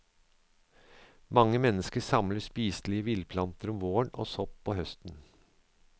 Mange mennesker samler spiselige villplanter om våren og sopp på høsten.